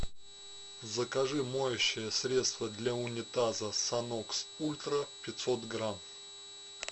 закажи моющее средство для унитаза санокс ультра пятьсот грамм